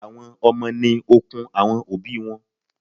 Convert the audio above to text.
Àwọn Ọmọ ni okun àwọn òbí wọn.